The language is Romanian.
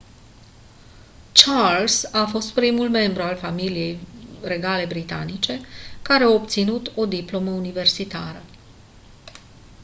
charles a fost primul membru al familiei regale britanice care a obținut o diplomă universitară